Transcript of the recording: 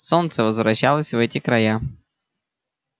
солнце возвращалось в эти края